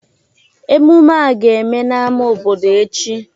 Ememme a ga-eme n'ámá obodo echi